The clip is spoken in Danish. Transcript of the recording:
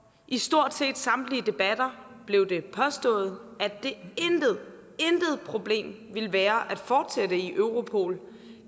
i stort set samtlige debatter blev det påstået at det intet problem ville være at fortsætte i europol